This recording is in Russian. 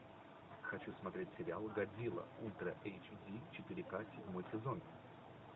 хочу смотреть сериал годзилла ультра эйч ди четыре к седьмой сезон